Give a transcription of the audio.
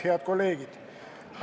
Head kolleegid!